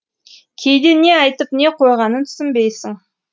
кейде не айтып не қойғанын түсінбейсің